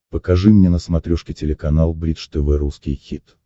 покажи мне на смотрешке телеканал бридж тв русский хит